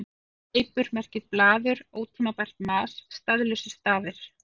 Fleipur merkir blaður, ótímabært mas, staðlausir stafir.